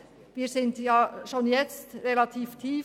Unsere Studiengebühren sind schon jetzt relativ tief.